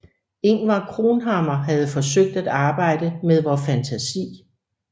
Ingvar Cronhammar havde forsøgt at arbejde med vor fantasi